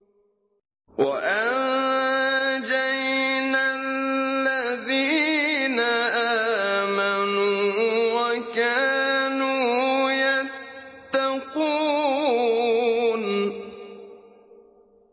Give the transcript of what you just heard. وَأَنجَيْنَا الَّذِينَ آمَنُوا وَكَانُوا يَتَّقُونَ